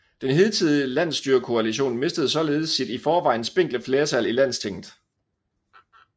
Den hidtidige landsstyrekoalition mistede således sit i forvejen spinkle flertal i Landstinget